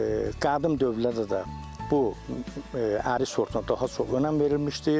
Qədim dövrlərdə də bu ərik sortuna daha çox önəm verilmişdir.